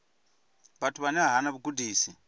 vhathu vhane vha hana vhugudisi